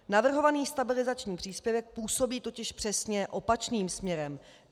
Navrhovaný stabilizační příspěvek působí totiž přesně opačným směrem.